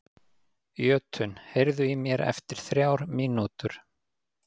Jötunn, heyrðu í mér eftir þrjár mínútur.